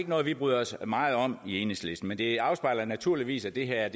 noget vi bryder os meget om i enhedslisten men det afspejler naturligvis at det her